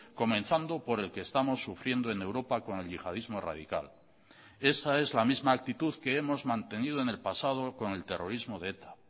comenzando por el que estamos sufriendo en europa con el yihadismo radical esa es la misma actitud que hemos mantenido en el pasado con el terrorismo de eta